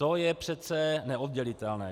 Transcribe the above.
To je přece neoddělitelné!